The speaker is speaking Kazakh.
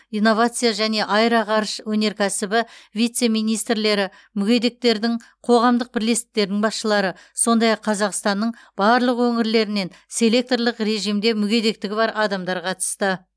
инновация және аэроғарыш өнеркәсібі вице министрлері мүгедектердің қоғамдық бірлестіктерінің басшылары сондай ақ қазақстанның барлық өңірлерінен селекторлық режимде мүгедектігі бар адамдар қатысты